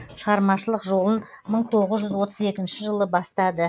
шығармашылық жолын мың тоғыз жүз отыз екінші жылы бастады